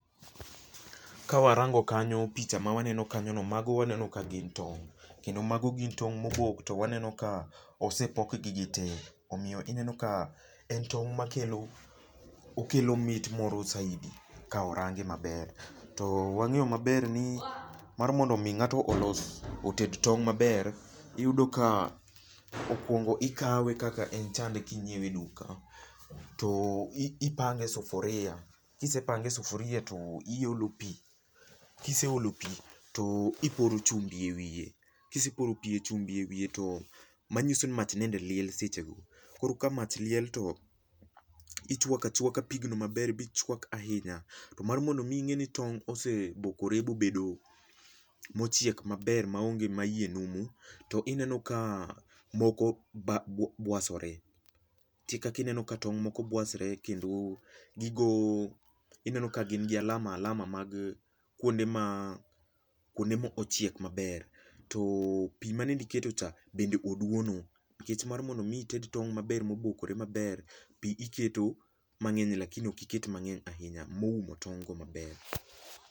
Kawarango kanyo, picha mawaneno kanyono, mago waneno ka gin tong'.Kendo mago gin tong' mobok to waneno ka osepokgi gite. Omiyo ineno ka en tong' moro ma kelo, okelo mit moro saidi ka orange maber. To wang'eyo maber ni ,mar mondo mi ng'ato olos ,oted tong' maber, iyudo ka okwongo ikawe kaka en chande ka inyiewe e duka , to ipange e sufuria. Kisepange e sufuria to iolo pii, kiseolo pii to iporo chumbi e wiye. Kiseporo pii e chumbi e wiye, to manyiso ni mach nende liel sechego. Koro ka mach liel to, ichwakachwaka pigno maber bichwak ahinya. To mar mondo mi ing'e ni tong' osebokore bobedo mochiek maber ma onge ma iye numu, to ineno ka moko bwasore. Nitie kaka ineno ka tong' moko bwasore kendo gigo, ineno ka gin gi alama alama mag kwonde ma ochiek maber. To pii ma nende iketocha , bende oduono. Nikech mar mondo mi ited tong' maber ma obokore maber, pii iketo mang'eny lakini ok iket mang'eny ahinya moumo tong'go maber.